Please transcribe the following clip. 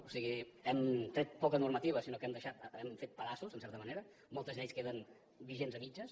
o sigui hem tret poca normativa sinó que hem fet pedaços en certa manera moltes lleis queden vigents a mitges